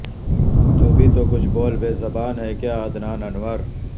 تو بھی تو کچھ بول بے زبان ہے کیا عدنان انور